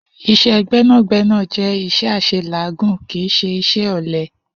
Is̩é̩ gbé̩nàgbé̩nà jé̩ is̩é̩ às̩elàágùn, kì í s̩e is̩é̩ ò̩le̩.